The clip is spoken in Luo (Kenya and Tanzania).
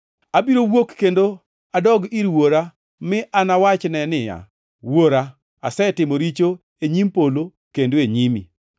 Abiro wuok kendo adog ir wuora mi anawachne ni: Wuora, asetimo richo e nyim polo kendo e nyimi.